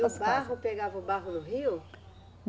E o barro, pegava o barro no rio?